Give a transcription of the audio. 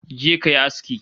Je ka yi aski